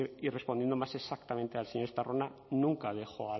y respondiendo más exactamente al señor estarrona nunca dejo